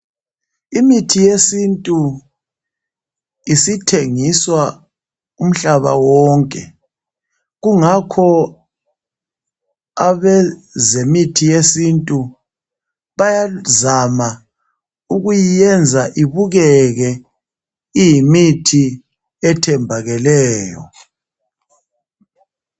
Imithi yesintu isithengiswa umhlaba wonke. Kungakho abezemithi yesintu bayazama ukuyiyenza ibukeke iyimithi ethembakeleyo.